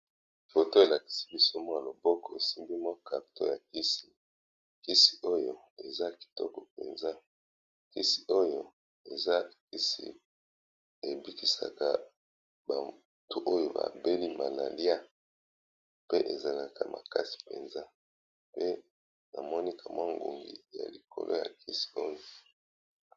Foto elakisi biso mwa loboko esimbi mwa carton ya kisi, kisi oyo eza kitoko mpenza, kisi oyo eza kisi ebikisaka batu oyo ba beli malaria, pe ezalaka makasi mpenza, pe na moni ka mwa ngungi ya likolo ya kisi oyo.